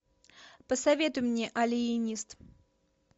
посоветуй мне алиенист